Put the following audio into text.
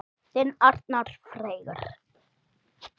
Þinn Arnar Freyr.